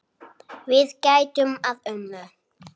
Við gætum að ömmu.